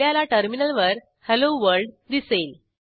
आपल्याला टर्मिनलवर hello world दिसेल